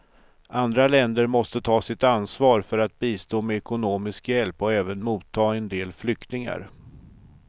Andra länder måste ta sitt ansvar för att bistå med ekonomisk hjälp och även motta en del flyktingar.